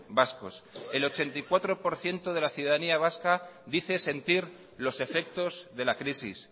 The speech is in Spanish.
vascos el ochenta y cuatro por ciento de la ciudadanía vasca dice sentir los efectos de la crisis